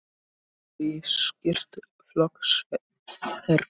Hann hafði styrkt flokkskerfi